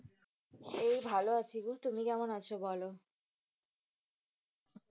এই ভালো আছি গো। তুমি কেমন আছো বলো।